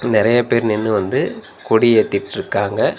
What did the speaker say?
நெறைய பேர் நின்னு வந்து கொடி ஏத்திட்ருக்காங்க.